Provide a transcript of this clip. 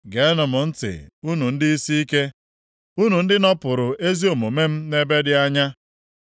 Geenụ m ntị, unu ndị isi ike, unu ndị nọpụrụ ezi omume m nʼebe dị anya.